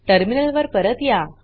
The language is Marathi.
टर्मिनल वर परत या